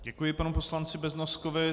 Děkuji panu poslanci Beznoskovi.